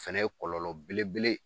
Fɛnɛ ye kɔlɔlɔ belebele.